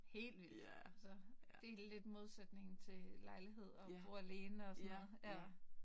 Helt vildt. Så det lidt modsætningen til lejlighed og bo alene og sådan noget. Ja